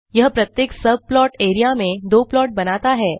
यह प्रत्येक subplot area में दो प्लॉट बनाता है